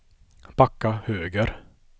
backa höger